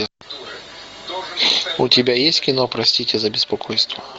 у тебя есть кино простите за беспокойство